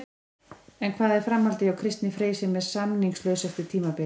En hvað er framhaldið hjá Kristni Frey sem er samningslaus eftir tímabilið?